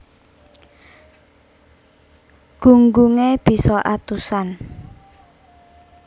Gunggunge bisa atusan